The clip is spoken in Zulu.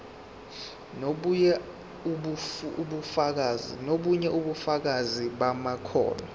nobunye ubufakazi bamakhono